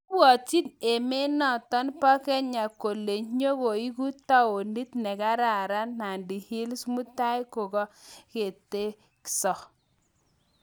Ipwatchin emet notok pa Kenya kole nyigoeku taonit negararan Nandi hills mutai kokaketegso